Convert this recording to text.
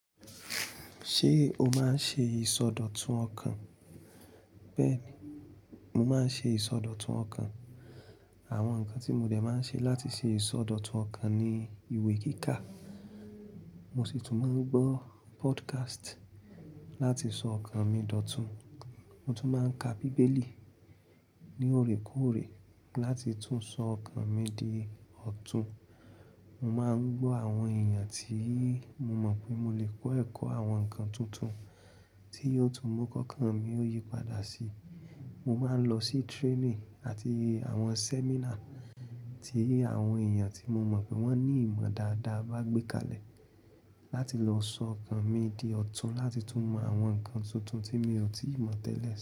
Ṣé o máa ń ṣe ìsọdọ̀tun ọkàn? Bẹ́ẹ̀ni, mo máa ń ṣe ìsọdọ̀tun ọkàn. Àwọn nǹkan tí mo dẹ̀ máa ń ṣe láti ṣe ìsọdọ̀tun ọkàn ni ìwé kíkà. Mo sì tún máa ń gbọ́ podcast láti sọ ọkàn mi dòtun. Mo tún máa ń ka bíbélì ní òrekóòrè láti tún sọ ọkàn mi di ọ̀tún. Mo máa ń gbọ́ àwọn èèyàn tí mo mọ̀ pé mo lè kọ́ ẹ̀kọ́ àwọn nǹkan tuntun tí ó tún mu kokánmi ó yípadà sí. Mo máa ń lọ sí training àti àwọn seminar tí àwọn èèyàn tí mo mọ̀ pé wọ́n ní ìmọ̀ dáadáa bá gbé kalẹ̀ láti lọ sọ ọkàn mi di ọ̀tún láti tún mọ àwọn nǹkan tuntun tí mi ò tíì mọ̀ tẹ́lẹ̀.